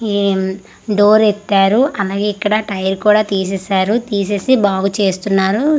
ఏం డోర్ ఎత్తారు అలాగే ఇక్కడ టైరు కూడా తీసేసారు తీసేసి బాగు చేస్తున్నారు.